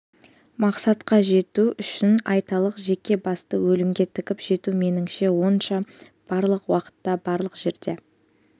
мақсатқа жету үшін айталық жеке басты өлімге тігіп жету меніңше онша барлық уақытта барлық жерде